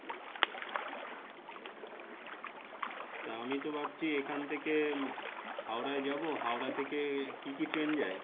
আমি তো ভাবছি এখান থেকে হাওড়ায় যাবো হাওড়া থেকে কি কি ট্রেন যায়